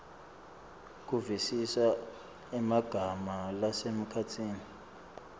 kuvisisa emagama lasemkhatsini